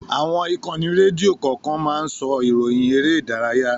Àwọn ìkànnì rédíò kọ̀ọ̀kan máa ń sọ ìròyìn eré ìdárayá.